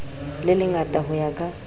le lengata ho ya ka